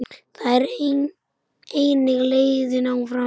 Það er einnig leiðin áfram.